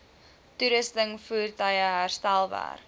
toerusting voertuie herstelwerk